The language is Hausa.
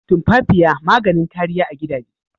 Tumfafiya maganin kariya a gidaje.